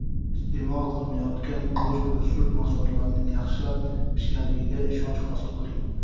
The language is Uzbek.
iste’mol qilinayotgan go‘sht va sut mahsulotlarining yaxshilab pishganligiga ishonch hosil qiling!.